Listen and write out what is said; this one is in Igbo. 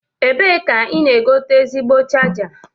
Ebe ka ị na-egote ezigbo chaja?